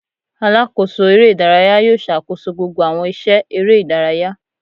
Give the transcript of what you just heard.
Alakoso eré idàráyá yóò ṣakoso gbogbo awọn iṣẹ eré idàráyá.